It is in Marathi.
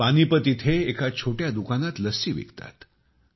ते पानिपत येथे एका छोट्या दुकानात लस्सी विकतात